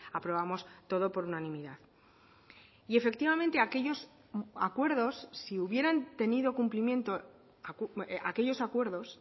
aprobamos todo por unanimidad y efectivamente aquellos acuerdos si hubieran tenido cumplimiento aquellos acuerdos